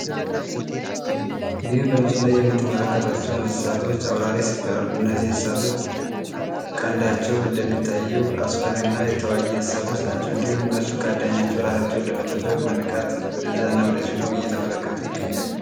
ይህ በምሱሉ ላይ የምትመለከቷቸው እንስሳቶች አውራሬ ይባላሉ። እነዚህ እንስሳቶች ቀንዳቸው እንደሚታየው አስፈሪ እና የታዋጊ እንስሳቶች ናቸው። እንዲሁም እነሱ ካአዳኛቸው እራታቸውን ለመጠበቅ በንቃት ወደ ዛና ወደዚሁ ነው እየተመለከቱ ይገኛሉ።